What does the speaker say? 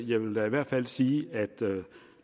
jeg vil da i hvert fald sige at